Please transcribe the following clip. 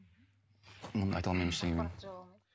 мұны айта алмаймын ештеңе мен